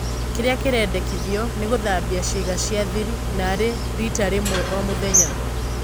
Kĩria kĩrendekithio nĩ gũthambia ciĩga cia-thiri narĩ riita rĩmwe o-mũthenya."